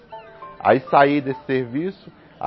Aí saí desse serviço.